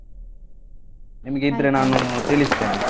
ನಿಮ್ಗೆ ಇದ್ರೆ ನಾನು ತಿಳಿಸ್ತೇನೆ.